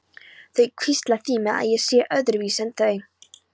Þau hvísla því með að ég sé öðruvísi en þau.